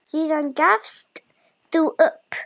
Síðan gafst þú upp.